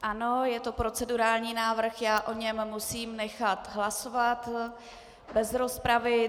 Ano, je to procedurální návrh, já o něm musím nechat hlasovat bez rozpravy.